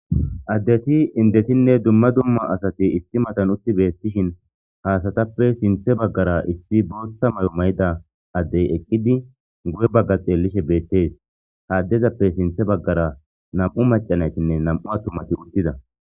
Addeti indetinne dumma dumma asati isti matan utti beettishin haasatappe sinthe baggara isti bootta may'o may'ida addey eqqidi gu7e bagga xeelishe beettees haaddezappe sinthe baggara nam7u macanaytinne nam7u a tumati uttida.